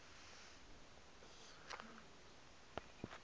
masekela